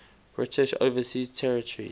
british overseas territories